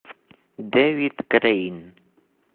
дэвид крейн